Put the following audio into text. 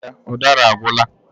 Èè, udara agwụla.